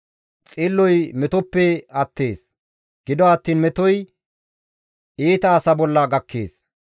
Xilloy metoppe attees; gido attiin metoy iita asa bolla gakkees.